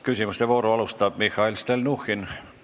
Küsimuste vooru alustab Mihhail Stalnuhhin.